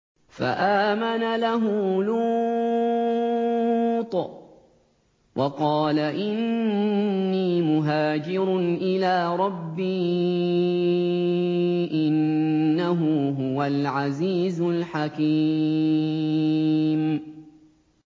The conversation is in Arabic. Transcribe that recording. ۞ فَآمَنَ لَهُ لُوطٌ ۘ وَقَالَ إِنِّي مُهَاجِرٌ إِلَىٰ رَبِّي ۖ إِنَّهُ هُوَ الْعَزِيزُ الْحَكِيمُ